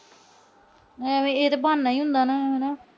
ਐਵੇਂ ਇਹ ਤਾਂ ਬਹਾਨਾ ਈ ਹੁੰਦਾ